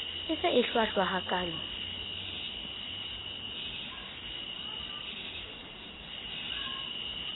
e se e hlwahlwa hakaalo